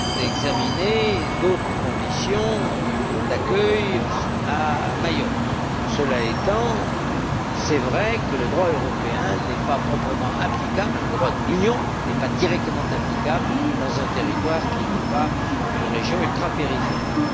d'examiner d'autres conditions d'accueil à Mayotte. Cela étant, il est vrai que le droit européen n'est pas proprement applicable, car le droit de l'Union n'est pas directement applicable dans un territoire qui n'est pas une région ultrapériphérique.